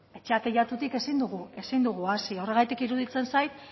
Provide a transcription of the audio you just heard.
etxea teilatutik ezin dugu hasi horregatik iruditzen zait